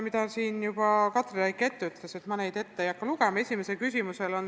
Katri Raik juba luges selle ette, ma ei hakka seda kordama.